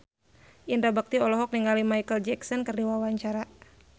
Indra Bekti olohok ningali Micheal Jackson keur diwawancara